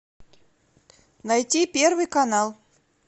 найти первый канал